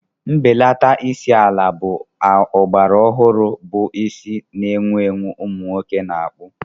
Mbelata isi ala ogbara ọhụrụ bụ isi na-ewu ewu ụmụ nwoke na-akpụ.